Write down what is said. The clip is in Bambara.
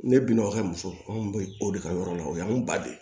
Ne binn'o ka muso anw bɛ o de ka yɔrɔ la o y'an ba de ye